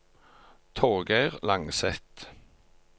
Torgeir Langseth